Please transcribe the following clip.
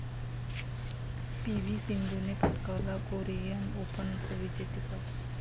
P V सिंधूने पटकावलं Korean ओपनचं विजेतेपद